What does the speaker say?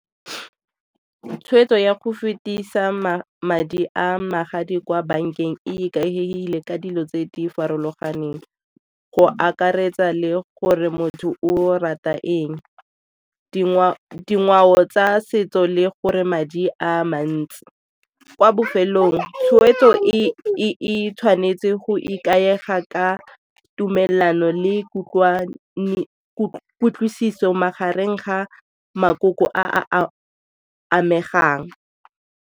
Tshwetso ya go fetisa madi a magadi kwa bankeng e ikagegile ka dilo tse di farologaneng go akaretsa le gore motho o rata eng, dingwao tsa setso le gore madi a mantsi. Kwa bofelong tshwetso e tshwanetse go ikaega ka tumelelano le kutlwisiso magareng ga makoko a a amegang.